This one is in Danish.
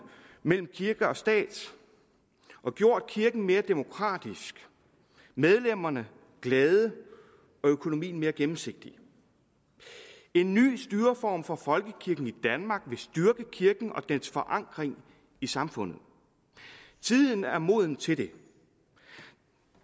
mellem kirke og stat og gjort kirken mere demokratisk medlemmerne glade og økonomien mere gennemsigtig en ny styreform for folkekirken i danmark vil styrke kirken og dens forankring i samfundet tiden er moden til det